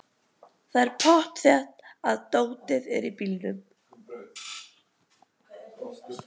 Það er pottþétt að dótið er í bílnum!